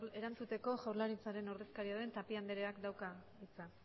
erantzuteko jaurlaritzaren ordezkari den tapia andereak dauka hitza